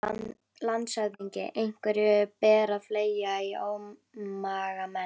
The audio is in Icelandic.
LANDSHÖFÐINGI: Einhverju ber að fleygja í ómagamenn.